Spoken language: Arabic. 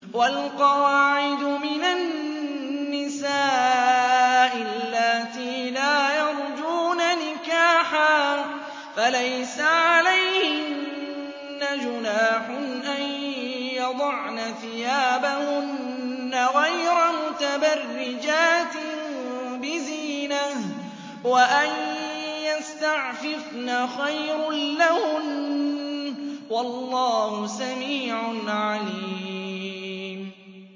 وَالْقَوَاعِدُ مِنَ النِّسَاءِ اللَّاتِي لَا يَرْجُونَ نِكَاحًا فَلَيْسَ عَلَيْهِنَّ جُنَاحٌ أَن يَضَعْنَ ثِيَابَهُنَّ غَيْرَ مُتَبَرِّجَاتٍ بِزِينَةٍ ۖ وَأَن يَسْتَعْفِفْنَ خَيْرٌ لَّهُنَّ ۗ وَاللَّهُ سَمِيعٌ عَلِيمٌ